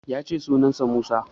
Ya ce sunan sa Musa